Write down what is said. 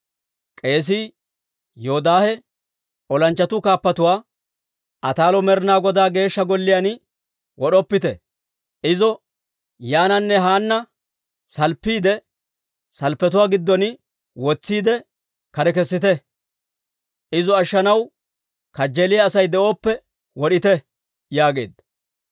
K'eesii Yoodaahe olanchchatuu kaappatuwaa, «Ataalo Med'ina Godaa Geeshsha Golliyaan wod'oppite! Izo yaananne haananne salppiide salppetuwaa gidduwaan wotsiide, kare kessite. Izo ashshanaw kajjeeliyaa Asay de'oppe wod'ite!» yaageedda.